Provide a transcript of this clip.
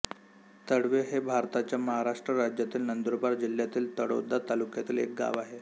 तळवे हे भारताच्या महाराष्ट्र राज्यातील नंदुरबार जिल्ह्यातील तळोदा तालुक्यातील एक गाव आहे